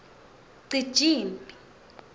cijimphi